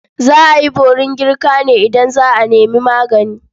Za a yi borin girka ne idan za a nemi magani.